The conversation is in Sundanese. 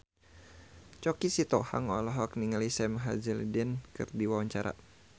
Choky Sitohang olohok ningali Sam Hazeldine keur diwawancara